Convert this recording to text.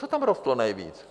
Co tam rostlo nejvíc?